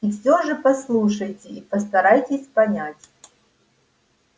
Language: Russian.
и все же послушайте и постарайтесь понять